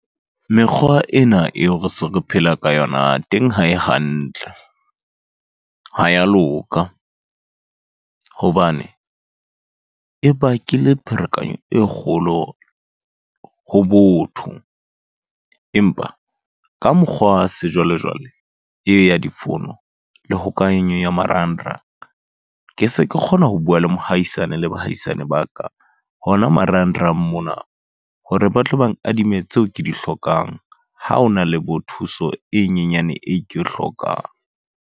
Mekgwa ena eo re se re phela ka yona teng ha e hantle. Ha ya loka. Hobane e bakile pherekanyo e kgolo ho botho. Empa ka mokgwa wa sejwalejwale, eo ya difouno le hokahanyo ya marangrang. Ke se ke kgona ho bua le mohaisane le bahaisane ba ka, hona marangrang mona. Hore ba tlo bang adime tseo ke di hlokang. Ha hona le bo thuso e nyenyane e ke e hlokang.